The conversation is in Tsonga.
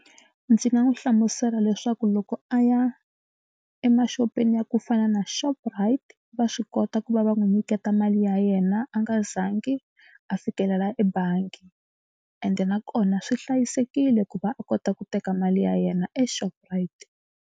Ndzi nga n'wi hlamusela leswaku loko a ya emaxopeni ya ku fana na Shoprite va swi kota ku va va n'wi nyiketa mali ya yena a nga zangi a fikelela ebangi ende nakona swi hlayisekile ku va a kota ku teka mali ya yena eShoprite.